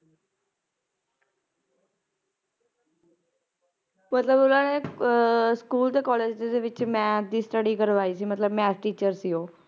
ਮਤਲਬ ਇਹਨਾਂ ਨੇ ਸਕੂਲ ਤੇ college ਦੇ ਵਿਚ maths ਦੀ study ਕਰਵਾਈ ਸੀ ਮਤਲਬ maths teacher ਸੀ ਉਹ